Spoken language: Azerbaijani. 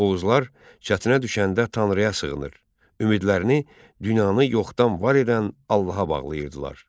Oğuzlar çətinə düşəndə Tanrıya sığınır, ümidlərini dünyanı yoxdan var edən Allaha bağlayırdılar.